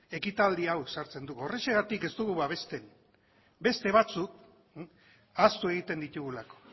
ekitaldi hau sartzen dugu horrexegatik ez dugu babesten beste batzuk ahaztu egiten ditugulako